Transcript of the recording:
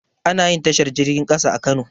Anayin tashar jirgin ƙasa a kano